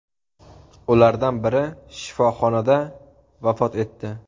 Ulardan biri shifoxonada vafot etdi.